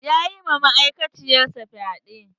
Ya yi ma ma'aikaciyar sa fyaɗe.